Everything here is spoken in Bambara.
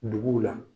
Duguw la